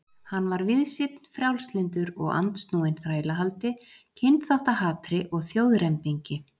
Hann var víðsýnn, frjálslyndur, og andsnúinn þrælahaldi, kynþáttahatri og þjóðrembingi.